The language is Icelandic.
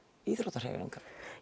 íþróttahreyfingarinnar